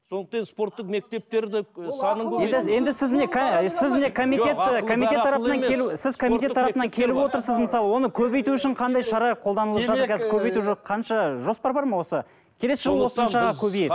сондықтан енді спорттық мектептерді і санын қанша жоспар бар ма осы